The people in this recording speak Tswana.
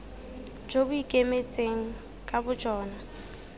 jo bo ikemetseng ka bojona